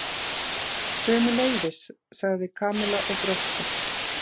Sömuleiðis sagði Kamilla og brosti.